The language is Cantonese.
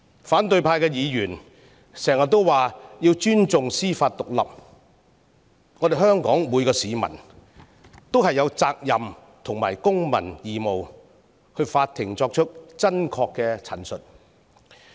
反對派議員經常說要尊重司法獨立，香港每名市民也有責任和公民義務出庭作出真確陳述。